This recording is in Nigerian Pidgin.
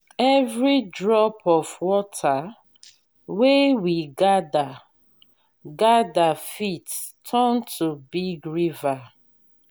every drop of water wey we gather gather fit turn to big river.